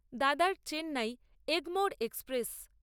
দাদার চেন্নাই এগমোর এক্সপ্রেস